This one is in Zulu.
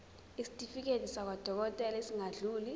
isitifiketi sakwadokodela esingadluli